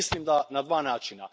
Mislim da na dva načina.